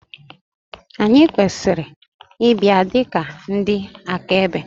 Ànyị kwesịrị ịbịa dị ka ndị akaebe?